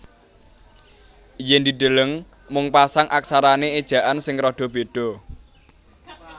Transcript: Yen dideleng mung pasang aksarane ejaan sing rada beda